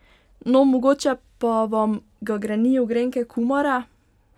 No, mogoče pa vam ga grenijo grenke kumare!